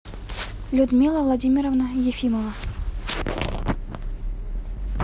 людмила владимировна ефимова